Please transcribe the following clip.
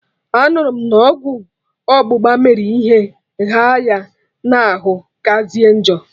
Anụrụ m na ọgwụ ọgbụgba mere ihe ghaa ya na arụ kazie njọ